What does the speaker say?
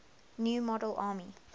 new model army